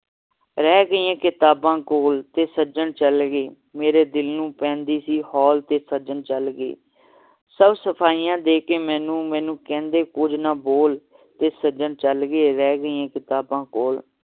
ਰਹਿ ਗਈਆਂ ਕਿਤਾਬਾਂ ਕੋਲ ਤੇ ਸੱਜਣ ਚਲ ਗਏ ਮੇਰੇ ਦਿਲ ਨੂੰ ਪੈਂਦੀ ਸੀ ਹੌਲ ਤੇ ਸੱਜਣ ਚਲ ਗਏ ਸਭ ਸਫਾਈਆਂ ਦੇ ਕੇ ਮੈਨੂੰ ਕਹਿੰਦੇ ਕੁਛ ਨਾ ਬੋਲ ਤੇ ਸੱਜਣ ਚਲ ਗਏ ਰਹਿ ਗਈਆਂ ਕਿਤਾਬਾਂ ਕੋਲ